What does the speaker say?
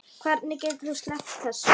Hvernig getur þú sleppt þessu?